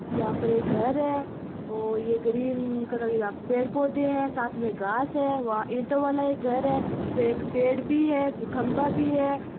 यहाँ पर एक घर है और ये ग्रीन कलर की यहाँ पे पेड़ पौधे है साथ में घास है वहां ईंटो वाला एक घर है फिर एक पेड़ भी है फिर खम्बा भी है।